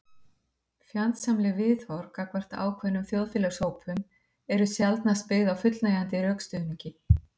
fjandsamleg viðhorf gagnvart ákveðnum þjóðfélagshópum eru sjaldnast byggð á fullnægjandi rökstuðningi